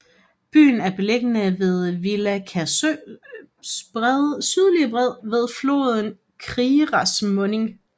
Byen er beliggende ved Viļaka søs sydlige bred ved floden Kiras munding